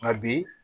Nka bi